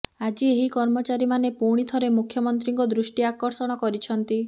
ଆଜି ଏହି କର୍ମଚାରୀମାନେ ପୁଣି ଥରେ ମୁଖ୍ୟମନ୍ତ୍ରୀଙ୍କ ଦୃଷ୍ଟି ଆକର୍ଷଣ କରିଛନ୍ତି